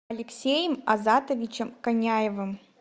алексеем азатовичем коняевым